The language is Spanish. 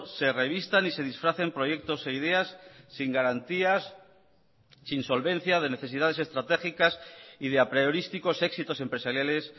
se revistan y se disfracen proyectos e ideas sin garantías sin solvencia de necesidades estratégicas y de apriorísticos éxitos empresariales